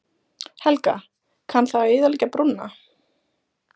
Helga: Kann það að eyðileggja brúna?